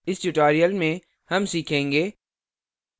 इस tutorial में हम सीखेंगे